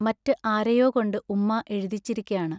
മററ് ആരെയോ കൊണ്ട് ഉമ്മാ എഴുതിച്ചിരിക്കയാണ്.